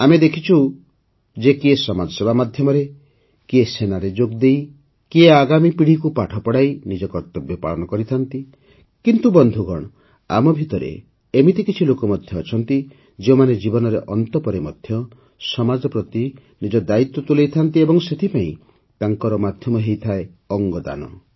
ଆମେ ଦେଖିଛୁ ଯେ କିଏ ସମାଜସେବା ମାଧ୍ୟମରେ କିଏ ସେନାରେ ଯୋଗଦେଇ କିଏ ଆଗାମୀ ପିଢ଼ିକୁ ପାଠ ପଢ଼ାଇ ନିଜ କର୍ତ୍ତବ୍ୟ ପାଳନ କରିଥାଏ କିନ୍ତୁ ବନ୍ଧୁଗଣ ଆମ ଭିତରେ ଏଭଳି କିଛି ଲୋକ ମଧ୍ୟ ଥାଆନ୍ତି ଯେଉଁମାନେ ଜୀବନର ଅନ୍ତ ପରେ ମଧ୍ୟ ସମାଜ ପ୍ରତି ନିଜ ଦାୟିତ୍ୱ ତୁଲାଇଥାନ୍ତି ଓ ଏଥିପାଇଁ ତାଙ୍କର ମାଧ୍ୟମ ହୋଇଥାଏ ଅଙ୍ଗଦାନ